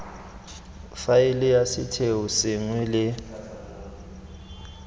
faele ya setheo sengwe le